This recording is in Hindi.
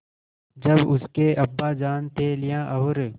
जब उसके अब्बाजान थैलियाँ और